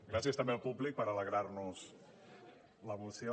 gràcies també al públic per alegrar nos la moció